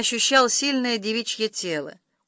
ощущал сильное девичье тело